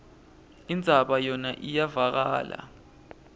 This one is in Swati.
indzaba yona iyevakala